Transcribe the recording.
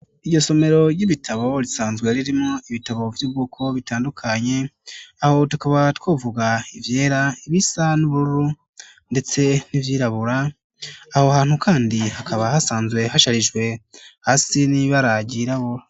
Iryo somero ry'ibitabo risanzwe ririmwo ibitabo vyubwoko butandukanye aho tukaba twovuga ivyera, ibisa n'ubururu ndetse n'ivyirabura, aho hantu kandi hakaba hasanzwe hasharijwe hasi n'ibara ryirabura.